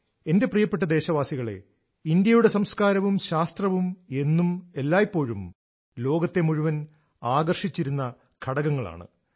എന്റെ പ്രിയപ്പെട്ട ദേശവാസികളെ ഇന്ത്യയുടെ സംസ്കാരവും ശാസ്ത്രവും എന്നും എല്ലായ്പ്പോഴും ലോകത്തെ മുഴുവൻ ആകർഷിച്ചിരുന്ന ഘടകങ്ങളാണ്